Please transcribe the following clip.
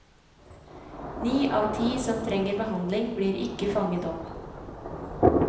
Ni av ti som trenger behandling, blir ikke fanget opp.